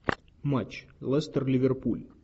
матч лестер ливерпуль